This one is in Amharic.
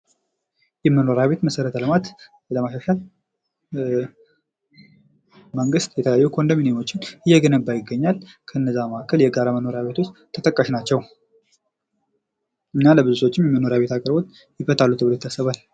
የመኖሪያ ቤት መሠረተ ልማት ለማሻሻል መንግስት የተለያዩ ኮንዶሚኒየሞችን እየገነባ ይገኛል። ከነዛ መካከል የጋራ መኖሪያ ቤቶች ተጠቃሽ ናቸዉ። እና ለብዙ ሰዎችም የመኖሪያ ቤት አግልግሎት ይፈታሉ ተብሎ ይታሰባል።